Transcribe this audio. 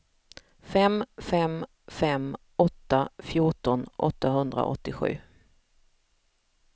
fem fem fem åtta fjorton åttahundraåttiosju